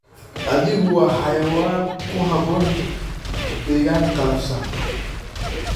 Adhigu waa xayawaan ku habboon deegaan qallafsan.